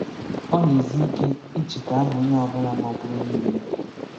Ọ na-ezi ike icheta aha onye ọ bula magburu niile.